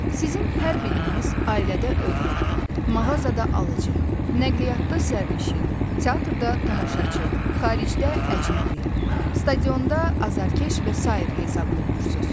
Sizin hər biriniz ailədə övlad, mağazada alıcı, nəqliyyatda sərnişin, teatrda tamaşaçı, xaricdə əcnəbi, stadionda azarkeş və sair hesab olunursuz.